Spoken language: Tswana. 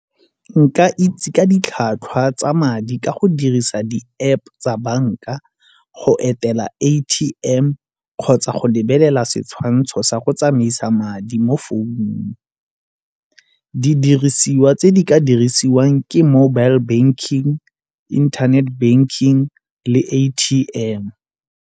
Nka itse ka ditlhwatlhwa tsa madi ka go dirisa di App tsa banka go etela A_T_M kgotsa go lebelela setshwantsho sa go tsamaisa madi mo phone-ung. Di dirisiwa tse di ka dirisiwang ke mobile banking, internet banking le A_T_M.